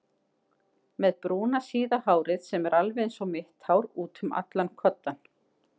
Með brúna síða hárið sem er alveg einsog mitt hár útum allan kodda.